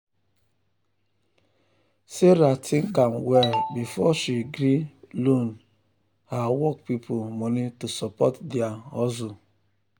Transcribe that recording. sarah think am well before she gree loan her work people money to support their hustle.